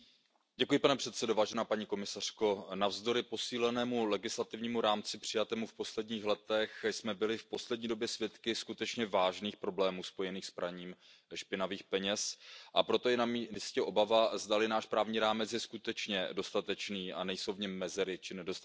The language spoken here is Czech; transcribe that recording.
Pane předsedající, paní komisařko, navzdory posílenému legislativnímu rámci přijatému v posledních letech jsme byli v poslední době svědky skutečně vážných problémů spojených s praním špinavých peněz, a proto je namístě obava, zdali náš právní rámec je skutečně dostatečný a nejsou v něm mezery či nedostatky.